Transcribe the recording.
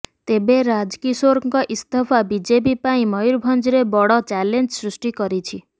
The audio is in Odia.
ତେବେ ରାଜକିଶୋରଙ୍କ ଇସ୍ତଫା ବିଜେପି ପାଇଁ ମୟୂରଭଞ୍ଜରେ ବଡ ଚ୍ୟାଲେଞ୍ଜ ସୃଷ୍ଟି କରିଛି